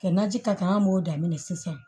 Kɛ naji ka kan an b'o daminɛ sisan